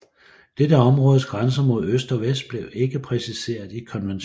Dette områdes grænser mod øst og vest blev ikke præciserede i konventionen